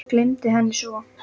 Gleymdi henni svo.